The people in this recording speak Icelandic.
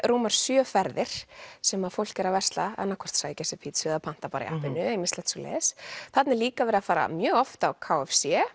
rúmar sjö ferðir sem að fólk er að versla annað hvort að sækja sér pizzu eða panta í appinu eða ýmislegt svoleiðis þarna er líka verið að fara mjög oft á k f c